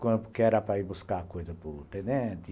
Porque era para ir buscar coisa para o tenente,